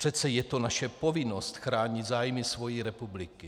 Přece je to naše povinnost chránit zájmy své republiky.